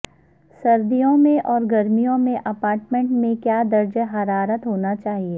سردیوں میں اور گرمیوں میں اپارٹمنٹ میں کیا درجہ حرارت ہونا چاہئے